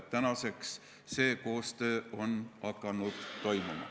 Tänaseks on see koostöö hakanud toimuma.